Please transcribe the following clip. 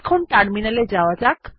এখন টার্মিনাল এ যাওয়া যাক